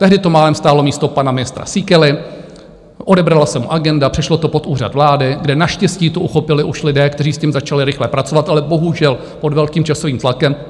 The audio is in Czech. Tehdy to málem stálo místo pana ministra Síkely, odebrala se mu agenda, přešlo to pod Úřad vlády, kde naštěstí to uchopili už lidé, kteří s tím začali rychle pracovat, ale bohužel pod velkým časovým tlakem.